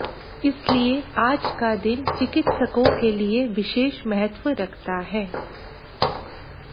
इसलिए आज का दिन चिकित्सकों के लिये विशेष महत्व रखता है